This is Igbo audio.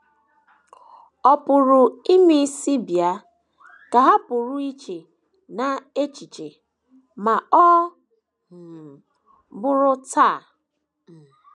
‘ Ọ pụrụ imesị bịa, ’ ka ha pụrụ iche n’echiche, ‘ ma ọ um bụghị taa. um ’